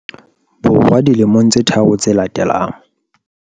Bo rwa dilemong tse tharo tse latelang.